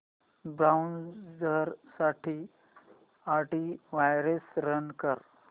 browser साठी antivirus run कर